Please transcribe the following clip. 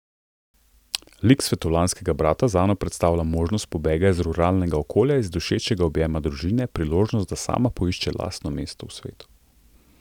Lik svetovljanskega brata zanjo predstavlja možnost pobega iz ruralnega okolja, iz dušečega objema družine, priložnost, da sama poišče lastno mesto v svetu.